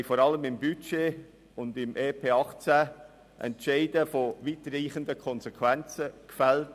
Vor allem im Budget und im EP 2018 haben wir Entscheide mit weitreichenden Konsequenzen gefällt.